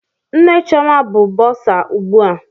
Nne Chioma bụ bọsa ugbu a.